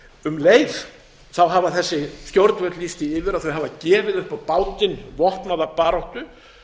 um leið hafa þessi stjórnvöld lýst því yfir að þau hafa gefið upp á bátinn vopnaða baráttu